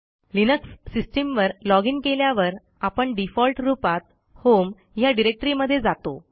Linux system वर login केल्यावर आपणdefault रूपात होम ह्या डिरेक्टरी मध्ये जातो